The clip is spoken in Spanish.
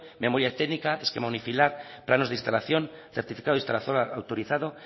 memoria técnica esquema unifilar planos de instalación certificado de instalación autorizado